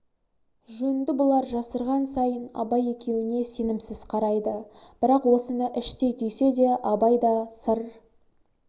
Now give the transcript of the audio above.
жөнді бұлар жасырған сайын абай екеуіне сенімсіз қарайды бірақ осыны іштей түйсе де абай да сыр